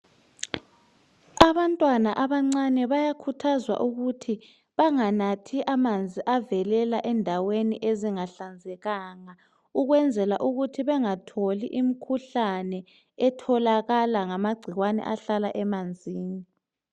Abantwana abancane bayakhuthazwa ukuthi banganatji amanzi avelela endaweni ezingahlanzekanga ukwenzela ukuthi bengatholi imikhuhlane etholakala ngamagcikwane ahlala emanzini.